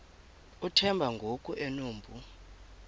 uthemba ngoku enompu